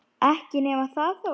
Ekki nema það þó!